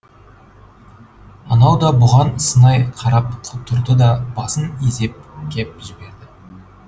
анау да бұған сынай қарап тұрды да басын изеп кеп жіберді